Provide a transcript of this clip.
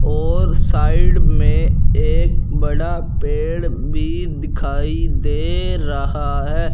और साइड में एक बड़ा पेड़ भी दिखाई दे रहा है।